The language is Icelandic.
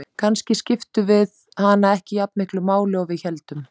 Kannski skiptum við hana ekki jafn miklu máli og við héldum.